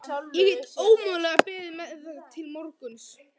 Ég get ómögulega beðið með það til morguns.